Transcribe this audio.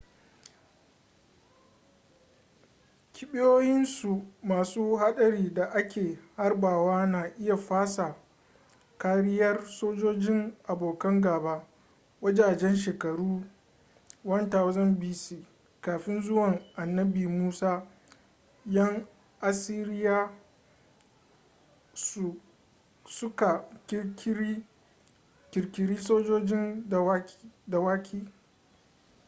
kibiyoyinsu masu hadari da ake harbawa na iya fasa kariyar sojojin abokan gaba. wajajen shekaru 1000 b.c.kafin zuwan annabi musa yan asiriya su ka kirkiri sojojin dawaki